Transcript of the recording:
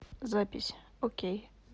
запись окей